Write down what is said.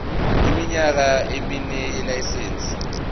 iminyaka emine yelayisense